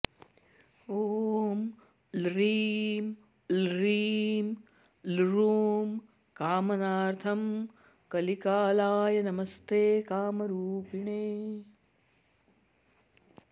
ॐ ल्रीं ल्रीं लृं कामनार्थं कलिकालाय नमस्ते कामरूपिणे